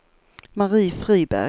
Marie Friberg